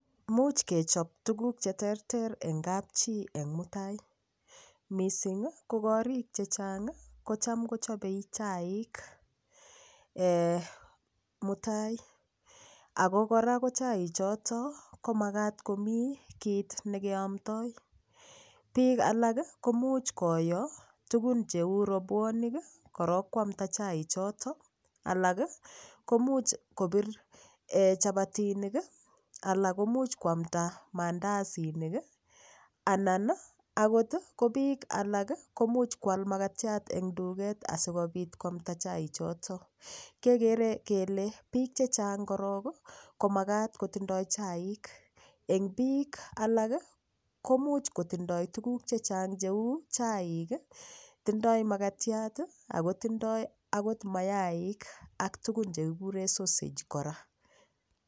Muuch kechob tuguk cheterter eng kapchii eng' mutai mising' ko korik chechang' kocham kochobei chaik mutai ako kora ko chaichoto komakat komi kiit nekeomtoi biik alak komuch koyo tugun cheu robwonik akorok kwamta chaichoto alak komuch kobire chapatinik alak komuch koamta mandasinik anan akot ko biik alak komuch kwal makatiat eng' tuget asikobit koamta chaichoto kekere kele biik chechang' korok komakat kotindoi chaik eng' biik alak komuch kotindoi tuguk chechang' cheu chaik tindoi makatiat akotindoi akot mayaik ak tugun cheu s kikure sausage kra